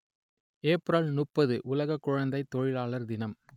April முப்பது உலக குழந்தைத் தொழிலாளர் தினம்